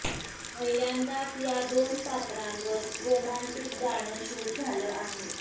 पहिल्यांदाच या दोन पात्रांवर रोमांटिक गाणं शूट झालं आहे